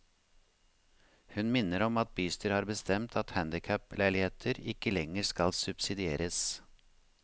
Hun minner om at bystyret har bestemt at handicap leiligheter ikke lenger skal subsidieres.